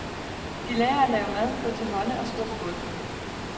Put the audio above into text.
De lærer at lave mad, gå til hånde og skrubbe gulv.